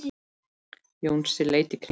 Jónsi leit í kringum sig.